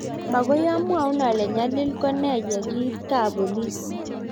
Mokoi amwaun ale nyalil ko ne ye kiit kabpolis